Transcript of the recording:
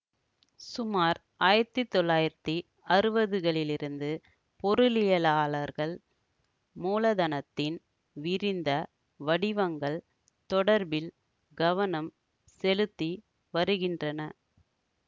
சுமார் ஆயிரத்தி தொள்ளாயிரத்தி அறுவதுகளிலிருந்து பொருளியலாளர்கள் மூலதனத்தின் விரிந்த வடிவங்கள் தொடர்பில் கவனம் செலுத்தி வருகின்றன